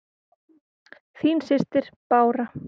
Þín systir, Bára.